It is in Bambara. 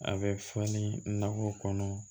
A bɛ fɔ ni nakɔ kɔnɔ